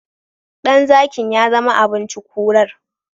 Ɗan zakin yazama abinci kurar